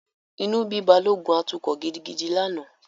Inú bí Balógun atukọ̀ gidigidi lánàá.